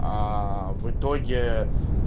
а в итоге